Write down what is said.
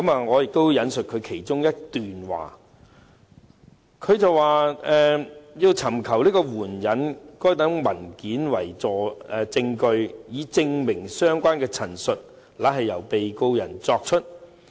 我引述當中的一段："......要尋求援引該等文件為證據，以證明相關的陳述乃是由被告人作出。